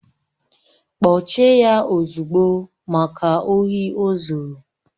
Kpọchie ya ozugbo! Maka ohi ozuru